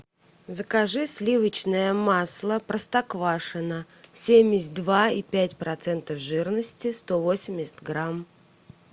закажи сливочное масло простоквашино семьдесят два и пять процентов жирности сто восемьдесят грамм